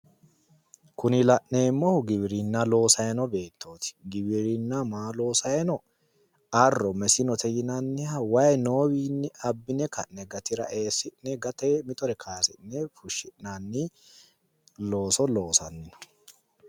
Kuni la'neemmohu giwirinna loosayi noo beettoti. Giwirinna maa loosayi no arro mesinote yinanniha wayi noowiinni abbine ka'ne gatira eesi'ne ka'ne gatee mitore kayisi'ne fushshi'nanni looso loosanni no.